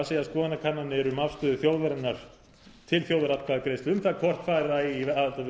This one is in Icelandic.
segja skoðanakannanir um afstöðu þjóðarinnar til þjóðaratkvæðagreiðslu um það hvort fara eigi í aðildarviðræður við